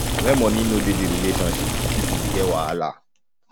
when money no de di relationship di pipo de get wahala